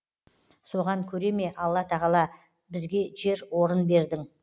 соған көре ме алла тағала бізге жер орын бердің